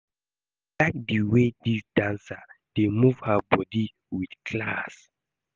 I like the way dis dancer dey move her body with class